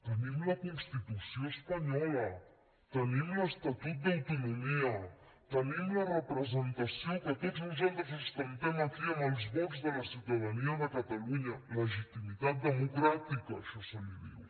tenim la constitució espanyola tenim l’estatut d’autonomia tenim la representació que tots nosaltres ostentem aquí amb els vots de la ciutadania de catalunya legitimitat democràtica a això se li diu